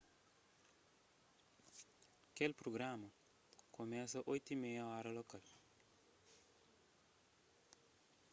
kel prugrama kumesa 20:30 óra lokal 15.00 utc